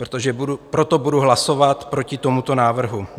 Proto budu hlasovat proti tomuto návrhu.